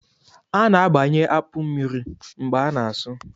A na-abanye akpụ mmiri mgbe a na-asụ